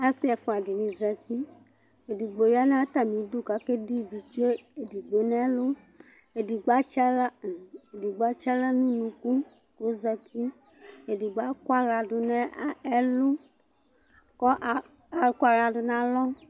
asɩ ɛfʊaɗɩnɩ azatɩ eɗɩgɓo ƴanʊ atamɩɗʊ ƙaƙeno ɩʋɩtsʊenʊ eɗɩgɓo nu ɛlʊ eɗɩgɓo atsɩ ahla nʊ ʊnʊƙʊ ƙʊ ozatɩ eɗɩgɓo aƙɔ ahlaɗʊnʊ ɛlʊ ɛɗɩɓɩ aƙɔ ahlaɗʊnʊ alɔ